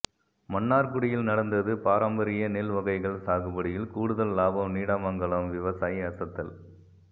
மன்னார்குடியில் நடந்தது பாரம்பரிய நெல் வகைகள் சாகுபடியில் கூடுதல் லாபம் நீடாமங்கலம் விவசாயி அசத்தல்